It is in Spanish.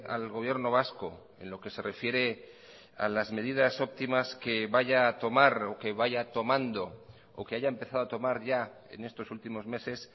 al gobierno vasco en lo que se refiere a las medidas óptimas que vaya a tomar o que vaya tomando o que haya empezado a tomar ya en estos últimos meses